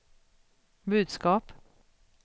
budskap